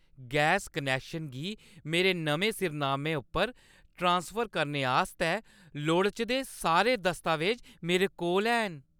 Gas connection गी मेरे नमें सिरनामे उप्पर ट्रांसफर करने आस्तै लोड़चदे सारे दस्तावेज मेरे कोल हैन ।